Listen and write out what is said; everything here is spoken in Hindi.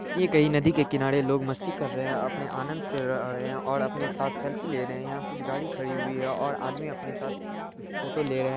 ये कई नदी की किनारे लोग मस्ती कर रहै है अपने आनंद और अपने साथ सेल्फ़ी ले रहै है यह कुछ गाड़ी खड़ी हुई है और आदमी अपनी साथ फोटो ले रहै है।